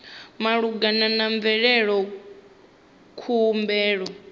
malugana na u bveledza khumbelo